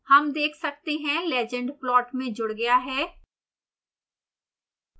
हम देख सकते हैं legend प्लॉट में जुड गया है